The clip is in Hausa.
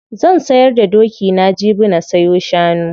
Zan sayar da dokina jibi na sayo shanu.